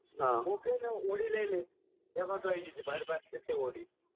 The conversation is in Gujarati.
હું છે ને audi લઇ લઈશ એમાં તું આવી જજે. મારી પાસે છે audi